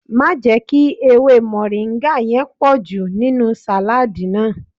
Má jẹ́ kí ewé mọ̀ríńgà yẹn pọ̀jù nínú sàládì náà